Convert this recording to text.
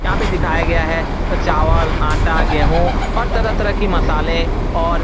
यहाँ पे दिखाया गया है चावल आटा गेहूं और तरह-तरह के मसाले और --